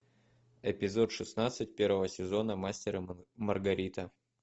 эпизод шестнадцать первого сезона мастер и маргарита